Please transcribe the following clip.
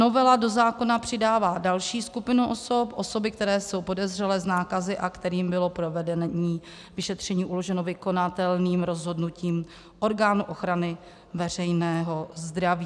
Novela do zákona přidává další skupinu osob - osoby, které jsou podezřelé z nákazy a kterým bylo provedení vyšetření uloženo vykonatelným rozhodnutím orgánu ochrany veřejného zdraví.